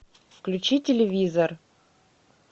включи телевизор